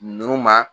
Ninnu ma